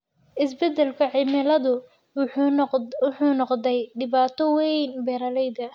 Isbeddelka cimiladu wuxuu noqday dhibaato weyn beeralayda.